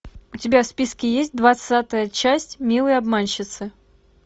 у тебя в списке есть двадцатая часть милые обманщицы